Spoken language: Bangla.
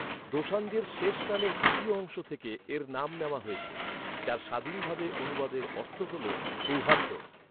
দোসাঞ্জের শেষ নামের দ্বিতীয় অংশ থেকে এর নাম নেওয়া হয়েছে, যার স্বাধীনভাবে অনুবাদের অর্থ হল "সৌহার্দ্য"।